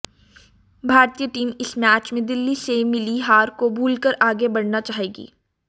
भारतीय टीम इस मैच में दिल्ली में मिली हार को भूलकर आगे बढ़ना चाहेगी